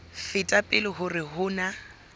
feta pele hore ho na